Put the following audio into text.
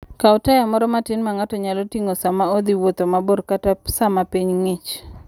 Kaw taya moro matin ma ng'ato nyalo ting'o sama odhi wuoth mabor kata sama piny ng'ich.